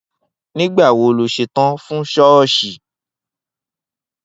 Nígbà wo lo óò s̩etán fún s̩ó̩ò̩s̩ì?